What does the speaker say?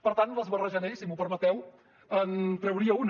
per tant les barrejaré i si m’ho permeteu en trauria una